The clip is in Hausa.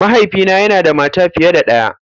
Mahaifina yana da mata fiye da ɗaya.